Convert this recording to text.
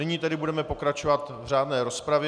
Nyní tedy budeme pokračovat v řádné rozpravě.